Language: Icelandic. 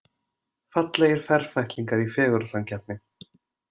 Fallegir ferfætlingar í fegurðarsamkeppni